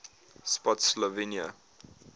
spottsylvania